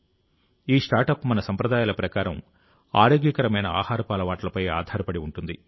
ఈ స్టార్టప్ మన సంప్రదాయాల ప్రకారం ఆరోగ్యకరమైన ఆహారపు అలవాట్లపై ఆధారపడి ఉంటుంది